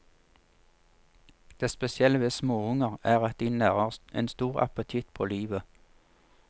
Det spesielle ved småunger er at de nærer en stor appetitt på livet.